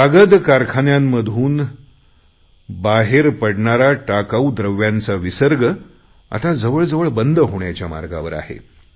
कागद कारखान्यांमधून पडणारा टाकाऊ द्रव्यांचा विसर्ग आता जवळजवळ बंद होण्याच्या मार्गावर आहे